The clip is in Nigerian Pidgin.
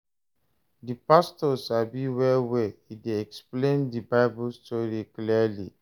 Di pastor sabi well well, e dey explain di Bible story clearly.